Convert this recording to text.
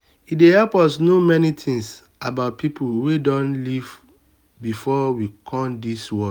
e dey help us know many things about pipo wey don live before we come di world